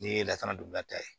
Nin ye lakana dugula ta ye